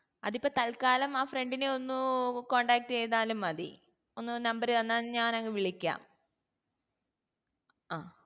അത് ഇപ്പൊ തൽക്കാലം ആ friend നെ ഒന്നു contact ചെയ്‌താലും മതി ഒന്ന് number തന്നാ ഞാൻ അങ്ങ് വിളിക്കാ